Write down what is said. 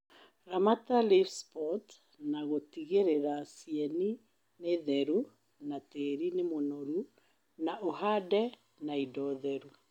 Ramata Leaf spot na gũtigĩlĩla cieni ni theru na tĩri ni mũnoru na ũhande na indo theru